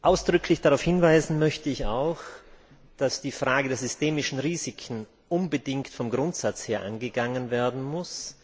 Ausdrücklich hinweisen möchte ich auch darauf, dass die Frage der systemischen Risiken unbedingt vom Grundsatz her angegangen werden muss.